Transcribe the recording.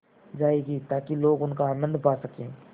जाएगी ताकि लोग उनका आनन्द पा सकें